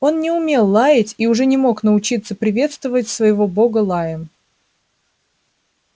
он не умел лаять и уже не мог научиться приветствовать своего бога лаем